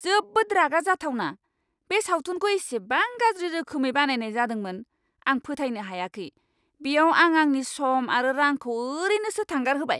जोबोद रागा जाथावना, बे सावथुनखौ इसेबां गाज्रि रोखोमै बानायनाय जादोंमोन। आं फोथायनो हायाखै बेयाव आं आंनि सम आरो रांखौ ओरैनोसो थांगारहोबाय!